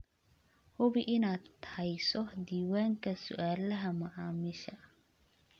Hubi inaad hayso diiwaanka su'aalaha macaamiisha.